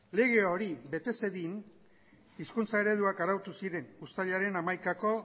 lege hori bete zedin hizkuntza ereduak arautu ziren uztailaren hamaikako